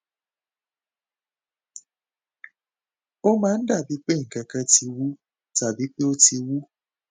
ó máa ń dàbíi pé nǹkan kan ti wú tàbí pé ó ti wú